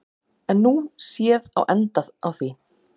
Er nú séð á enda á því.